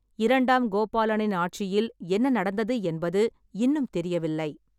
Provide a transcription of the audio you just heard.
இரண்டாம் கோபாலனின் ஆட்சியில் என்ன நடந்தது என்பது இன்னும் தெரியவில்லை.